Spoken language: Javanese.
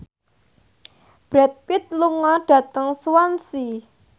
Brad Pitt lunga dhateng Swansea